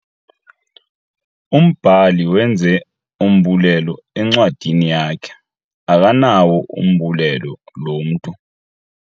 Umbhali wenze umbulelo encwadini yakhe. Akanawo umbulelo lo mntu.